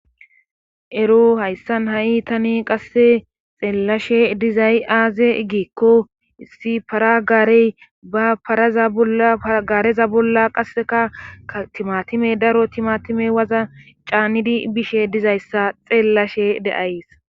Ero hayssan ha'i tani qasse xeellashe dizay aaze giikko issi paragaarey ba paraza agareza bolla qasseka atimatime daro timatime waza caannidi bishe dizayssa xeellashe de'ays.